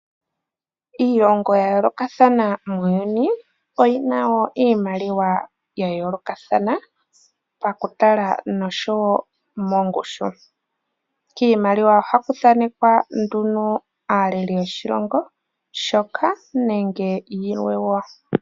Iilongo yayoolokathana muuyuni oyina woo iimaliwa yayoolokathana pakutala nosho mongushu. Kiimaliwa ohaku thanekwa nduno aaleli yoshilongo shoka nenge yilwe woo.